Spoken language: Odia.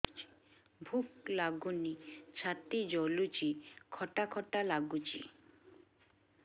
ଭୁକ ଲାଗୁନି ଛାତି ଜଳୁଛି ଖଟା ଖଟା ଲାଗୁଛି